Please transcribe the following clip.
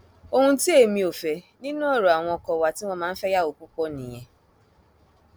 ohun tí èmi ò fẹ nínú ọrọ àwọn ọkọ wa tí wọn máa ń fẹyàwó púpọ nìyẹn